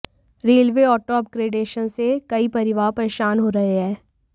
railway auto upgradation से कई परिवार परेशान हो रहे है